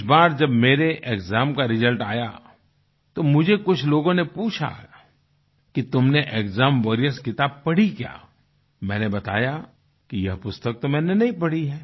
इस बार जब मेरे एक्साम का रिजल्ट आया तो मुझे कुछ लोगों ने पूछा कि तुमने एक्साम वॉरियर्स किताब पढ़ी क्या मैंने बताया कि यह पुस्तक तो मैंने नहीं पढ़ी है